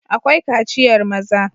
Akwai kaciyar maza..